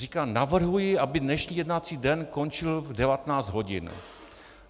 Říká: Navrhuji, aby dnešní jednací den končil v 19 hodin.